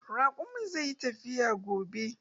Raƙumin zai yi tafiya gobe.